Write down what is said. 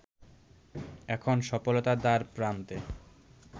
এখন সফলতার দ্বারপ্রান্তে